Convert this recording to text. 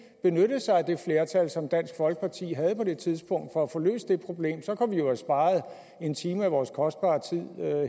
benyttede sig af det flertal som dansk folkeparti havde på det tidspunkt for at få løst det problem så kunne vi jo have sparet en time af vores kostbare tid